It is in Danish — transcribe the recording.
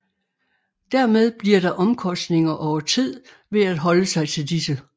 Dermed bliver der omkostninger over tid ved at holde sig til disse